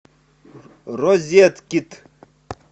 розеткид